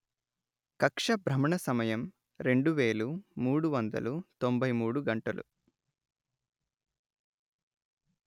కక్ష్య భ్రమణసమయం రెండు వేలు మూడు వందలు తొంభై మూడు గంటలు